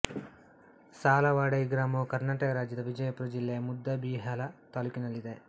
ಸಾಲವಾಡಗಿ ಗ್ರಾಮವು ಕರ್ನಾಟಕ ರಾಜ್ಯದ ವಿಜಯಪುರ ಜಿಲ್ಲೆಯ ಮುದ್ದೇಬಿಹಾಳ ತಾಲ್ಲೂಕಿನಲ್ಲಿದೆ